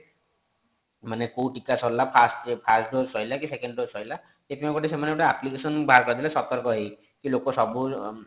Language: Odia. ମାନେ କୋଉ ଟୀକା ସାରିଲା first dose ସଇଲା କି second dose ସଇଲା ସେଥିପାଇଁ ସେମାନେ ଗୋଟେ application ବାହାର କରିଦେଲେ ସତର୍କ ହେଇ କି ଲୋକ ସବୁ